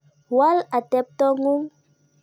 Wal atepto ng'ung'.